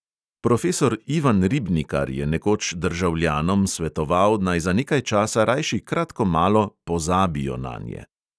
Profesor ivan ribnikar je nekoč državljanom svetoval, naj za nekaj časa rajši kratkomalo "pozabijo" nanje.